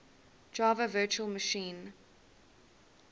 java virtual machine